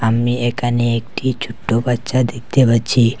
আমি এখানে একটি ছোট্ট বাচ্চা দেখতে পাচ্ছি।